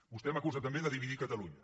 vostè m’acusa també de dividir catalunya